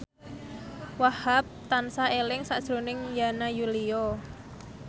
Wahhab tansah eling sakjroning Yana Julio